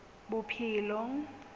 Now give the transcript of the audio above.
bophelong